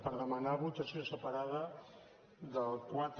per demanar votació separada del quatre